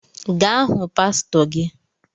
Gaa hụ pastor gị